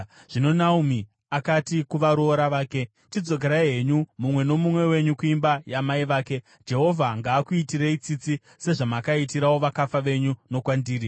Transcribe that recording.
Zvino Naomi akati kuvaroora vake vaviri, “Chidzokerai henyu, mumwe nomumwe wenyu kuimba yamai vake. Jehovha ngaakuitirei tsitsi, sezvamakaitirawo vakafa venyu nokwandiri.